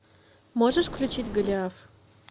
можешь включить голиаф